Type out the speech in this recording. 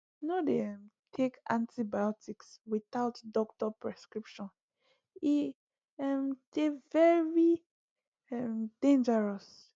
no um dey take antibiotics without doctor prescription e um dey very um dangerous